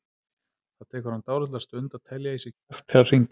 Það tekur hann dálitla stund að telja í sig kjark til að hringja.